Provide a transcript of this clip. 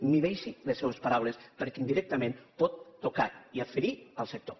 mesuri les seues paraules perquè indirectament pot tocar i ferir el sector